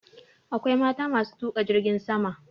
Akwai mata ma su tuƙa jirgin sama.